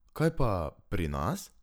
Kaj pa pri nas?